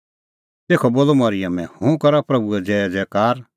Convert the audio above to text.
तेखअ बोलअ मरिअमै हुंह करा प्रभूए ज़ैज़ैकार